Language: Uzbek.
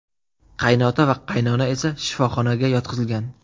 Qaynota va qaynona esa shifoxonaga yotqizilgan.